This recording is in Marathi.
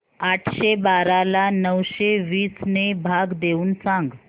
आठशे बारा ला नऊशे वीस ने भाग देऊन सांग